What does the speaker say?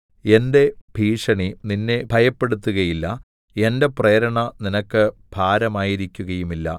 എന്റെ ഭീഷണി നിന്നെ ഭയപ്പെടുത്തുകയില്ല എന്റെ പ്രേരണ നിനക്ക് ഭാരമായിരിക്കുകയുമില്ല